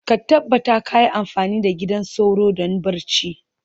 ka tabbata kayi amfani da gidan sauro don barci.